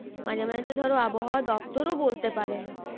মাঝে মাঝে তো ধরো আবহাওয়া দপ্তরও বলতে পারে না।